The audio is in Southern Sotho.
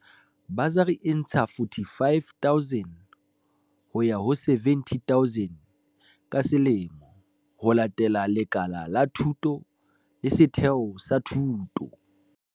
Basari e ntsha R45 000 ho ya ho R70 000 ka selemo, ho latela lekala la thuto le setheo sa thuto.